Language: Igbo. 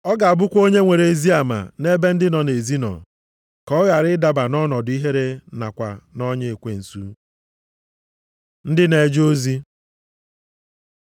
Ọ ga-abụkwa onye nwere ezi ama nʼebe ndị nọ nʼezi nọ, ka ọ ghara ịdaba nʼọnọdụ ihere nakwa nʼọnya ekwensu. Ndị na-eje ozi